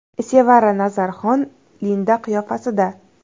Sevara Nazarxon Linda qiyofasida.